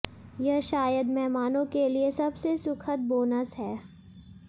यह शायद मेहमानों के लिए सबसे सुखद बोनस है